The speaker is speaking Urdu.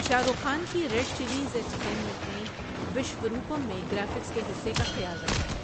شاہ رخ خان کی ریڈ چلیز انٹرٹینمنٹ نے وشوروپم میں گرافکس کے حصے کا خیال رکھا ہے۔